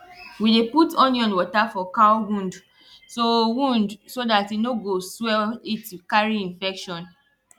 we dey put onion water for cow wound so wound so dat e no go swell it carry infection